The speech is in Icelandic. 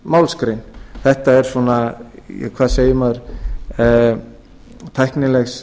málsgrein þetta er hvað segir maður tæknilegs